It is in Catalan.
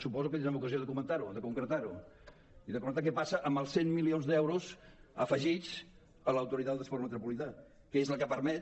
suposo que tindrem ocasió de comentar ho de concretar ho i de comentar què passa amb els cent milions d’euros afegits a l’autoritat del transport metropolità que és la que permet